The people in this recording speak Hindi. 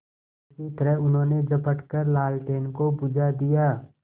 उसी तरह उन्होंने झपट कर लालटेन को बुझा दिया